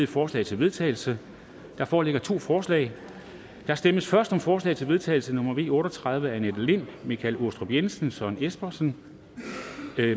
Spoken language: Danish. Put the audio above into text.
forslag til vedtagelse der foreligger to forslag der stemmes først om forslag til vedtagelse nummer v otte og tredive af annette lind michael aastrup jensen søren espersen